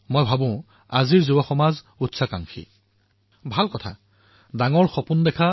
আমি ভাবো যে আজিৰ যুৱসমাজ অধিক উচ্চাকাংক্ষী আৰু বহুত ডাঙৰ ডাঙৰ কথা ভাবে